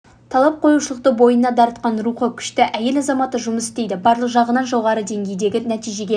талап қоюшылықты бойына дарытқан рухы күшті әйел азаматы жұмыс істейді барлық жағынан жоғары деңгейдегі нәтижеге